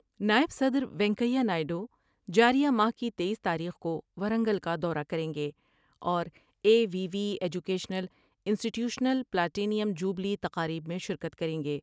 نائب صدر روینکیا نائیڈ و جار یہ ماہ کی تییس تاریخ کو ورنگل کا دورہ کر یں گے اوراے V the educational institutional platinum jubilee تقاریب میں شرکت کر یں گے ۔